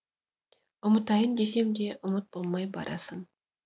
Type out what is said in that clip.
ұмытайын десемде ұмыт болмай барасың